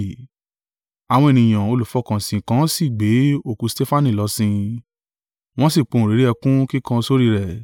Àwọn ènìyàn olùfọkànsìn kan sì gbé òkú Stefanu lọ sin, wọ́n sì pohùnréré ẹkún kíkan sórí rẹ̀.